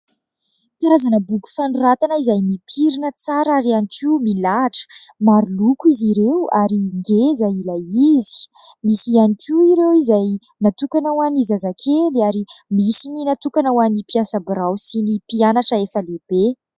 Karazana boky fanoratana izay mipirina tsara ary ihany koa milahitra. Maro loko izy ireo ary ngeza ilay izy. Misy ihany koa ireo izay natokana ho an'ny zazakely ary misy no natokana ho an'ny mpiasa birao sy ny mpianatra efa lehibe.